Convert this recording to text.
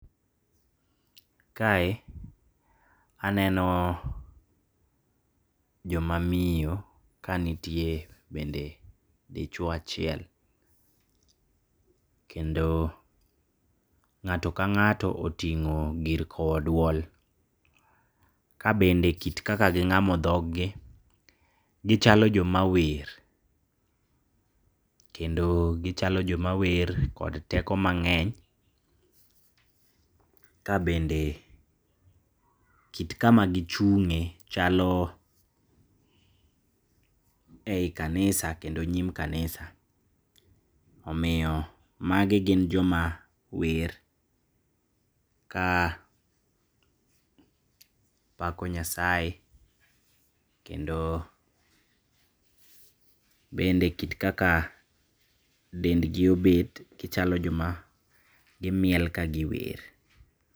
Kae aneno jomamiyo kanitie bende dichuo achiel, kendo ng'ato kang'ato oting'o gir kowo duol, kabende kit kaka ging'amo dhog gi gichalo jomawer, kendo gichalo jomawer kod teko mang'eny, kabende kit kama gichung'e chalo ei kanisa, kendo nyim kanisa, omiyo magi gin joma wer kapako nyasaye, kendo bende kit kaka dendgi obet gichalo joma gimiel ka giwer.